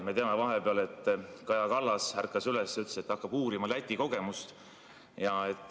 Me teame, et vahepeal Kaja Kallas ärkas üles ja ütles, et hakkab uurima Läti kogemust.